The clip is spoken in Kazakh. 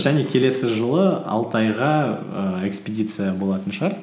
және келесі жылы алтайға ііі экспедиция болатын шығар